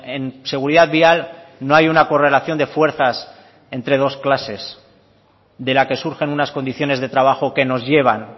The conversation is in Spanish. en seguridad vial no hay una correlación de fuerzas entre dos clases de la que surgen unas condiciones de trabajo que nos llevan